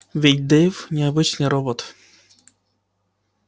ведь дейв не обычный робот